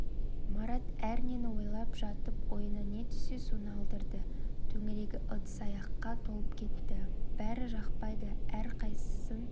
марат әрнені ойлап жатып ойына не түссе соны алдырды төңірегі ыдыс-аяққа толып кетті бәрі жақпайды әрқайсысын